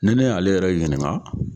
Ne ne y'ale yɛrɛ ɲininka